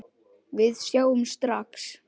Við sjáum strax að